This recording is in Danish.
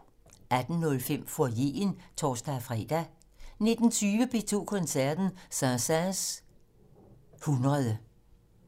18:05: Foyeren (tor-fre) 19:20: P2 Koncerten - Saint-Saëns 100